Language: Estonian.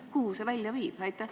Kuhu see välja viib?